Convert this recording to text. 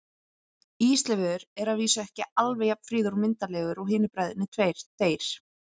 Ísleifur er að vísu ekki alveg jafn fríður og myndarlegur og hinir bræðurnir tveir, þeir